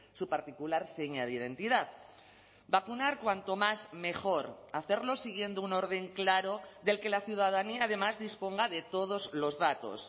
su particular seña de identidad vacunar cuanto más mejor hacerlo siguiendo un orden claro del que la ciudadanía además disponga de todos los datos